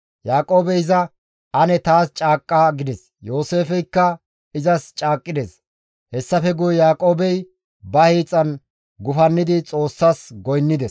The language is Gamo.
Yaaqoobey iza, «Ane taas caaqqa» gides. Yooseefeykka izas caaqqides; hessafe guye Yaaqoobey ba hiixan gufannidi Xoossas goynnides.